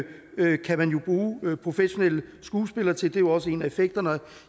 man bruger professionelle skuespillere til det jo også en af effekterne og